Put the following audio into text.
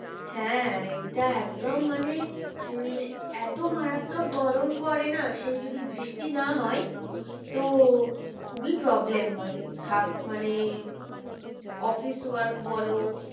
হ্যাঁ এটা একদম মানে উম এত মারাত্মক গরম পরে না সে যদি বৃষ্টি না হয় তো খুবই problem হয়। থাক মানে office work বলো